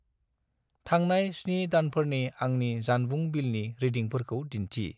थांनाय 7 दानफोरनि आंनि जानबुं बिलनि रिदिंफोरखौ दिन्थि।